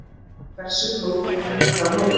Hversu flókið getur það verið?